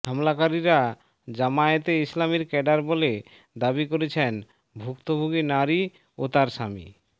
হামলাকারীরা জামায়াতে ইসলামির ক্যাডার বলে দাবি করেছেন ভুক্তভোগী নারী ও তার স্বামী